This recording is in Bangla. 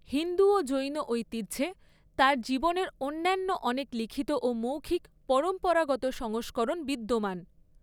হিন্দু ও জৈন ঐতিহ্যে তার জীবনের অন্যান্য অনেক লিখিত ও মৌখিক পরম্পরাগত সংস্করণ বিদ্যমান।